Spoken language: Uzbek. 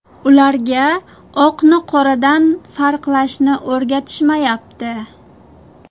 Ularga oqni qoradan farqlashni o‘rgatishmayapti.